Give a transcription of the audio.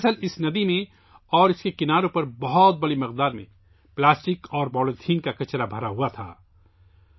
دراصل یہ ندی اور اس کے کنارے پلاسٹک اور پولی تھین کے کچرے سے بھرے پڑے تھے